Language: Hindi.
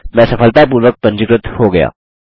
मैं सफलतापूर्वक पंजीकृत हो गया